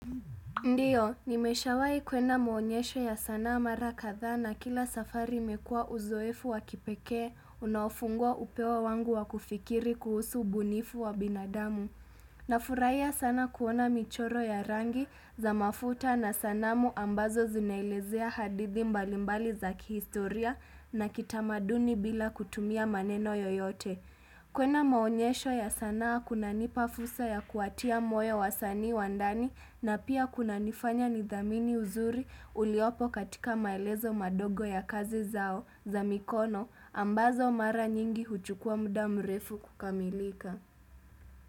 Ndiyo, nimeshawai kwenda maonyesho ya sanaa mara kadhaa na kila safari imekua uzoefu wa kipekee, unaofungua upeo wangu wa kufikiri kuhusu ubunifu wa binadamu. Nafurahia sana kuona michoro ya rangi za mafuta na sanamu ambazo zinaelezea hadithi mbalimbali za kihistoria na kitamaduni bila kutumia maneno yoyote. Kwenda maonyesho ya sanaa kunanipa fursa ya kuwatia moyo wasanii wa ndani na pia kunanifanya nidhamini uzuri uliopo katika maelezo madogo ya kazi zao za mikono ambazo mara nyingi huchukua muda mrefu kukamilika.